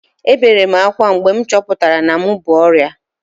Ebere m akwa mgbe m chọpụtara na m bu ọrịa